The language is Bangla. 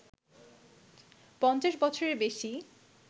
৫০ বছরের বেশি